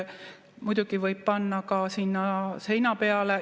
Muidugi võib panna ka sinna seina peale.